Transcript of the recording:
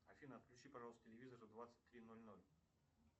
афина отключи пожалуйста телевизор в двадцать три ноль ноль